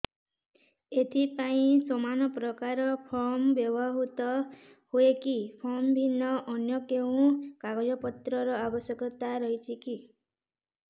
ଏଥିପାଇଁ ସମାନପ୍ରକାର ଫର୍ମ ବ୍ୟବହୃତ ହୂଏକି ଫର୍ମ ଭିନ୍ନ ଅନ୍ୟ କେଉଁ କାଗଜପତ୍ରର ଆବଶ୍ୟକତା ରହିଛିକି